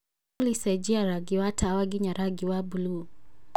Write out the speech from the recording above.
olly cenjia rangi wa tawa nginya rangi wa buluu